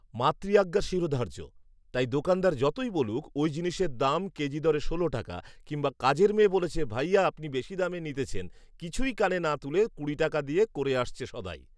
মাতৃআজ্ঞা শিরোধার্য, তাই দোকানদার যতোই বলুক ওই জিনিসের দাম কেজি দরে ষোল টাকা কিংবা কাজের মেয়ে বলছে ভাইয়া আপনি বেশি দামে নিতেছেন, কিছুই কানে না তুলে কুড়ি টাকা দিয়ে করে আসছে সদাই